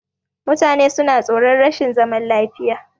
Mutane suna tsoron rashin zaman lafiya.